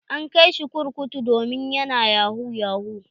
An kai shi kurkutu domin yana yahu yahu.